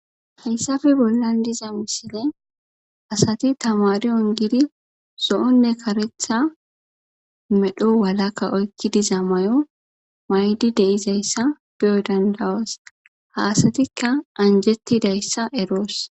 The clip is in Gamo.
hayssafe bollan diza misilene asati tamariyon gidi sohonne karetha medho walaka oykki diza mayo maydi deizayssa be'o dandawas ha asatikka anjettidayssa eroos